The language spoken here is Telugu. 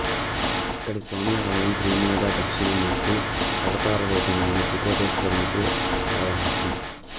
ఇక్కడి స్వామి ఆలయం శ్రీ మేధా దక్షిణామూర్తి అవతార రూపమైన త్రికోటేశ్వరునికి ఆవాసం